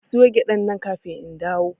Ka soya gyaɗan nan kafin in dawo!